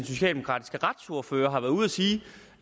socialdemokratiske retsordfører har været ude at sige